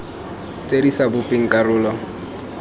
tse di sa bopeng karolo